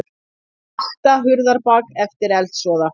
Vakta Hurðarbak eftir eldsvoða